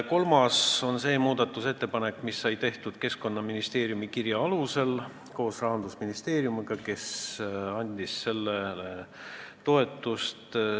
Kolmas muudatusettepanek sai tehtud Keskkonnaministeeriumi kirja alusel koos Rahandusministeeriumiga, kes andis sellele toetuse.